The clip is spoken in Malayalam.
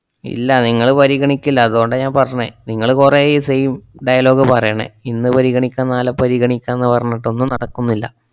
ഇല്ല നിങ്ങള് പരിഗണിക്കില്ല, അതുകൊണ്ടാ ഞാൻ പറഞ്ഞെ. നിങ്ങള് കൊറേയായി ഈ same dialogue പറയണേ, ഇന്ന് പരിഗണിക്കാം നാലെ പരിഗണിക്കാംന്ന് പറഞ്ഞിട്ടൊന്നും നടക്കുന്നില്ല.